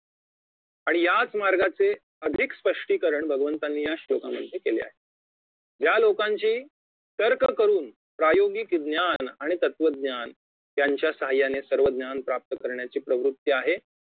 आणि याच मार्गाचे अधिक स्पष्टीकरण भगवंतांनी या श्लोकामध्ये केले आहे ज्या लोकांची तर्ककरुन प्रायोगिक ज्ञान आणि तत्वज्ञान यांच्या सहाय्याने सर्वज्ञान प्राप्त करण्याची प्रवृत्ती आहे